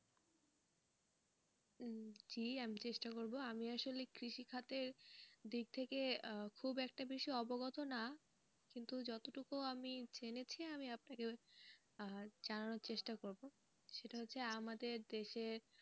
জি আমি চেষ্টা করবো আমি আসলে কৃষি খাতের দিক থেকে খুব একটা বেশি অবগত না কিন্তু যতটুকু আমি জেনেছি আমি আপনাকে আহ জানানোর চেষ্টা করবো, সেটা হচ্ছে আমাদের দেশের,